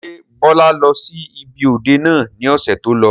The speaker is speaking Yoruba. Ṣé Bọlá lọ sí ibi òde náà ni ọ̀sẹ̀ tó lọ?